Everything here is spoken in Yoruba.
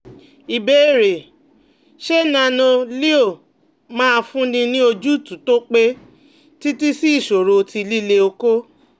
Ìbéèrè: Ṣé Nano-Leo máa fúnni ní ojútùú tó pẹ́ títí sí ìṣòro ti lile oko?